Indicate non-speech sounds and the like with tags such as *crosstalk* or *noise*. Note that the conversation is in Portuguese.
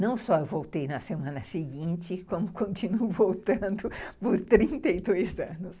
Não só voltei na semana seguinte, *laughs* como continuo voltando por trinta e dois anos.